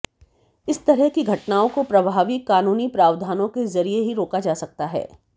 इस तरह की घटनाओं को प्रभावी कानूनी प्रावधानों के जरिये ही रोका जा सकता है